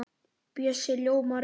Bjössi ljómar upp.